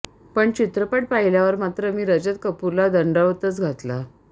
पण चित्रपट पाहिल्यावर मात्र मी रजत कपूरला दंडवतच घातला